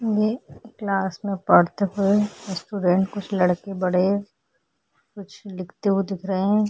ये क्लास में पढ़ते हुए स्टूडेंट कुछ लड़के बड़े कुछ लिखते हुए दिख रहे हैं।